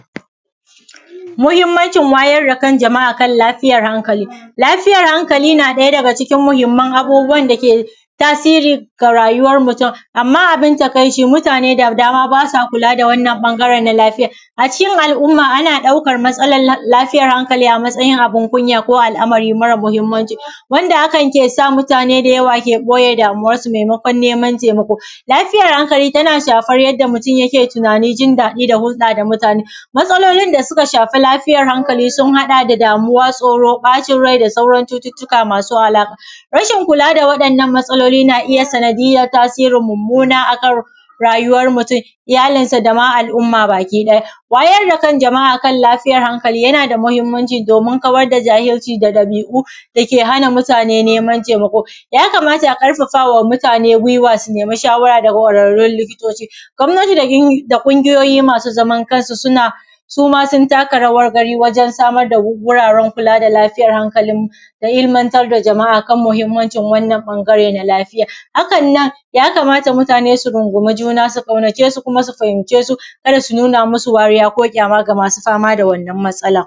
Muhimmancin wayar da kan jama’a akan lafiyar hankali. lafiyar hankali na ɗaya daga cikin muhimman abubuwan dake tasirin ga rayuwar mutum, amma abin takaici mutaane da dama baa sa kulaa da wannan ɓangaren na lafiya. Acikin al’umma ana ɗaukar matsalar lafiyar hankali a matsayin abin kunya ko al’amari mara muhimmanci wanda hakan ke sa mutaane da yawa ke ɓoye damuwarsu maimakon neman taimako. Lafiyar hankali tana shafar yadda mutum yake tunaani, jindaɗi da hulɗaa da mutaane. Matsalolin da suka shafa lafiyar hankali sun haɗa da damuwa, tsoro, ɓacin rai da sauran cututtuka masu alaƙa. Rashin kulaa da waɗannan matsaloli naa iya sanadiyyar tasirin mummuna akan raayuwar mutum, iyalinsa da ma al’mma baki ɗaya. Wayar da kan jama’a kan lafiyar hankali yana da muhimmanci doomin kawar da jahilci da ɗabii’u dake hana mutaane neman taimako, ya kamata a ƙarfafa wa mutaane gwiwa su nemi shawara daga ƙwararrun likitoci, gwamnati da ƙungiyoyi ma su zaman kansu suna su ma sun taka rawar gani wajen samar da wuraren kulaa da lafiyar hankali da ilmantar da jama’a kan muhimmancin wannan ɓangare na lafiya. Hakannan ya kamata mutaane su rungumi juna su ƙaunace su kuma su fahimce su ka da su nuna ma su wariya ko ƙyaama ga ma su fama da wannan matsalar.